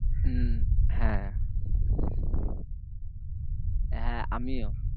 হম হ্যাঁ হ্যাঁ আমিও।